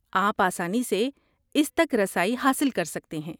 آپ آسانی سے اس تک رسائی حاصل کر سکتے ہیں۔